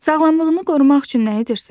Sağlamlığını qorumaq üçün nə edirsən?